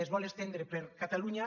es vol estendre per catalunya